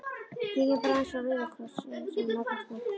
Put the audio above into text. Kíkjum bara aðeins á Rauða Kross- inn sagði Magga spennt.